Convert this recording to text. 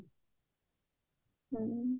ହଁ